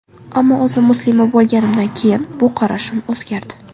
Ammo o‘zim muslima bo‘lganimdan keyin bu qarashim o‘zgardi.